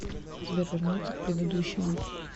сбер вернуться к предыдущему